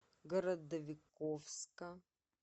городовиковска